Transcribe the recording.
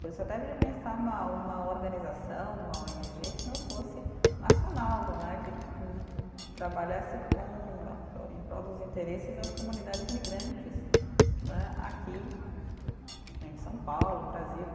Por isso até pensar uma uma organização, uma ó ene gê que não fosse nacional né, que trabalhasse com em prol dos interesses das comunidades migrantes né, aqui em São Paulo, Brasil.